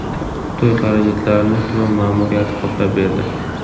To‘y xarajatlarini tuman ma’muriyati qoplab berdi.